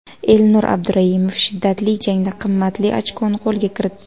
Elnur Abduraimov shiddatli jangda qimmatli ochkoni qo‘lga kiritdi.